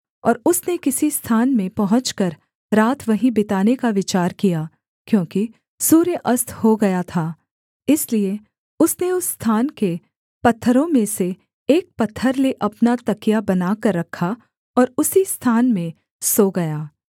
और उसने किसी स्थान में पहुँचकर रात वहीं बिताने का विचार किया क्योंकि सूर्य अस्त हो गया था इसलिए उसने उस स्थान के पत्थरों में से एक पत्थर ले अपना तकिया बनाकर रखा और उसी स्थान में सो गया